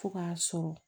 Fo k'a sɔrɔ